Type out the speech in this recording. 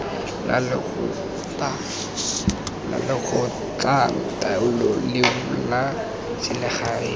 la lekgotlataolo leo la selegae